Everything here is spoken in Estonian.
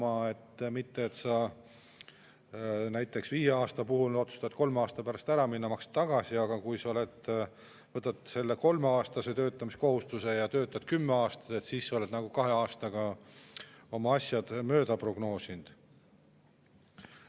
Kui sa näiteks viieaastase, aga otsustad kolme aasta pärast ära minna, siis sa maksad tagasi, aga kui sa võtad kolmeaastase töötamiskohustuse ja töötad kümme aastat, siis sa oled nagu kahe aasta võrra mööda prognoosinud.